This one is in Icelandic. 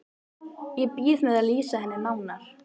Ég bíð með að lýsa henni nánar.